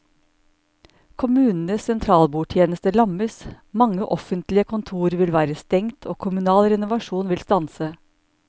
Kommunenes sentralbordtjeneste lammes, mange offentlige kontorer vil være stengt og kommunal renovasjon vil stanse.